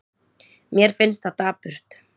Mér finnst það dapurt.